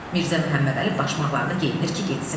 Mirzə Məhəmmədəli başmaqlarını geyinir ki, getsin.